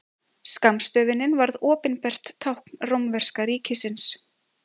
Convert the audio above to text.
Skammstöfunin varð opinbert tákn rómverska ríkisins.